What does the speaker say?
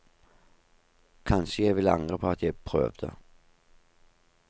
Kanskje jeg ville angre på at jeg prøvde.